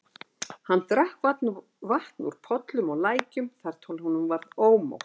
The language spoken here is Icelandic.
Hann drakk vatn úr pollum og lækjum þar til honum varð ómótt.